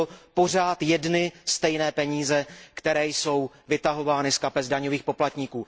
Jsou to pořád jedny stejné peníze, které jsou vytahovány z kapes daňových poplatníků.